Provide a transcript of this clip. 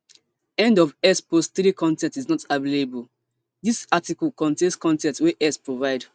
end of x post three con ten t is not available dis article contain con ten t wey x provide